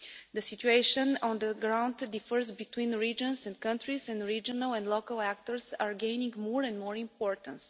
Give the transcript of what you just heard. The situation on the ground differs between the regions and countries, and regional and local players are gaining more and more importance.